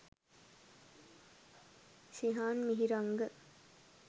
shihan mihiranga